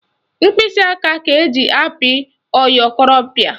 Mkpịsịaka ka eji apị oyorompịaka